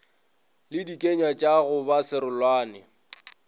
le dikenywatša go ba serolane